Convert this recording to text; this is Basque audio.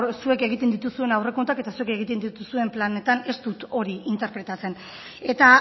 zuek egiten dituzuen aurrekontuak eta zuek egiten dituzuen planetan ez dut hori interpretatzen eta